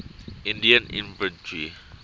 indian infantry